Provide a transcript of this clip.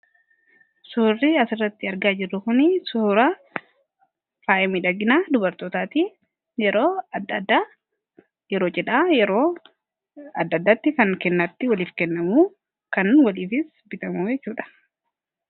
suhurri as irratti argaa jero kun sufura faayimidhaginaa dubartootaatii yeroo addayeroo jedhaa add-addaatti kan kennaatti waliif kennamuu kan waliifis bitamuu eeysuudha